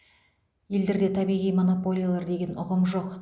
елдерде табиғи монополиялар деген ұғым жоқ